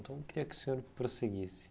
Então, eu queria que o senhor prosseguisse.